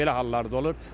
Belə hallar da olur.